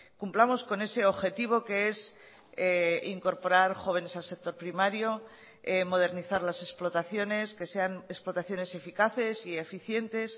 cumplamos con ese objetivo que es incorporar jóvenes al sector primario modernizar las explotaciones que sean explotaciones eficaces y eficientes